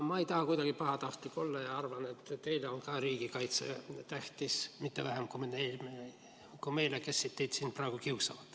Ma ei taha kuidagi pahatahtlik olla ja ma arvan, et teile on ka riigikaitse tähtis, mitte vähem kui meile, kes me teid siin praegu kiusame.